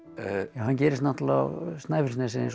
hann gerist náttúrulega á Snæfellsnesi eins og